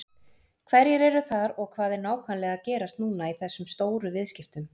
Hverjir eru þar og hvað er nákvæmlega að gerast núna í þessum stóru viðskiptum?